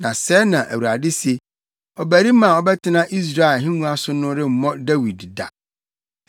Na sɛɛ na Awurade se: ‘Ɔbarima a ɔbɛtena Israel ahengua so no remmɔ Dawid da,